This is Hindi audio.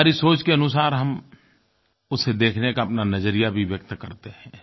हमारी सोच के अनुसार हम उसे देखने का अपना नज़रिया भी व्यक्त करते हैं